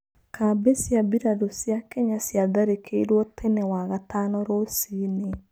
Kambĩ cia birarũcia Kenya ciatharĩkĩirwo tene wagatano rũciinĩ.